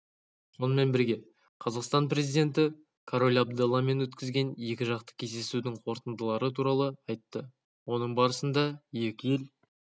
сонымен бірге қазақстан президенті король абдалламен өткізген екіжақты кездесудің қорытындылары туралы айтты оның барысында екі ел